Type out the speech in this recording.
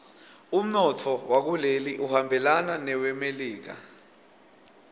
umnotfo wakuleli uhambelana newelemelika